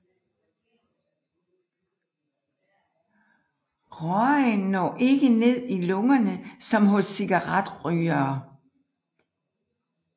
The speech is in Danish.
Røgen når ikke ned i lungerne som hos cigaretrygere